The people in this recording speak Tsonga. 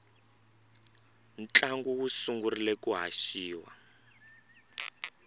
ntlangu wu sungurile ku haxiwa